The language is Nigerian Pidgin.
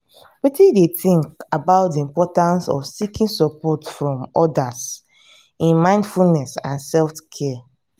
wetin you think about di importance of seeking support from odas in mindfulness and self-care?